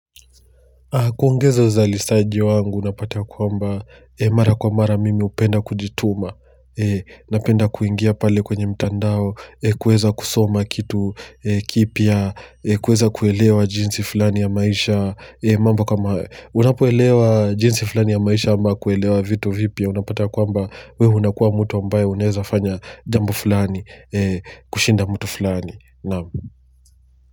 Kuongeza uzalishaji wangu unapata ya kwamba mara kwa mara mimi hupenda kujituma. Napenda kuingia pale kwenye mtandao kuweza kusoma kitu kipya. Kuweza kuelewa jinsi fulani ya maisha, mambo kama hayo. Unapoelewa jinsi fulani ya maisha ama kuelewa vitu vipya, unapata kwamba wewe unakuwa mtu ambaye unaeza fanya jambo fulani. Kushinda mtu fulani, na'am.